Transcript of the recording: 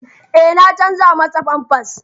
Eh na canja masa famfas.